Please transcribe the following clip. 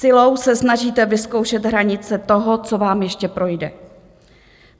Silou se snažíte vyzkoušet hranice toho, co vám ještě projde.